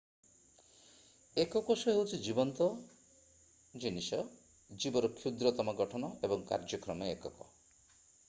ଏକ କୋଷ ହେଉଛି ଜୀବନ୍ତ ଜିନିଷ ଜୀବର କ୍ଷୁଦ୍ରତମ ଗଠନ ଏବଂ କାର୍ଯ୍ୟକ୍ଷମ ଏକକ।